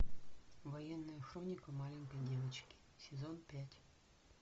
военная хроника маленькой девочки сезон пять